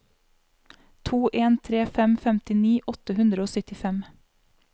to en tre fem femtini åtte hundre og syttifem